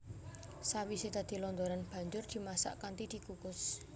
Sawisé dadi londoran banjur dimasak kanthi dikukus